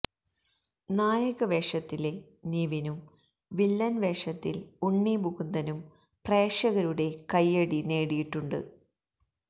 നായക വേഷത്തില് നിവിനും വില്ലന് വേഷത്തില് ഉണ്ണിമുകുന്ദനും പ്രേക്ഷകരുടെ കൈയ്യടി നേടിയിട്ടുണ്ട്